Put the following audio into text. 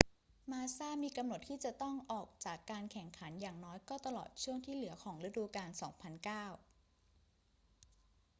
มาสซามีกำหนดที่จะต้องออกจากการแข่งขันอย่างน้อยก็ตลอดช่วงที่เหลือของฤดูกาล 2009